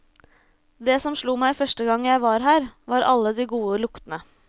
Det som slo meg første gang jeg var her, var alle de gode luktene.